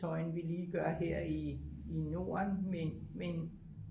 tøj end vi lige gør her i norden men